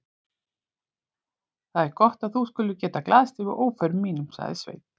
Það er gott að þú skulir geta glaðst yfir óförum mínum, sagði Sveinn.